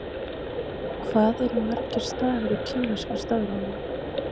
hvað eru margir stafir í kínverska stafrófinu